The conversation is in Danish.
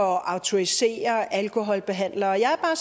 at autorisere alkoholbehandlere jeg er bare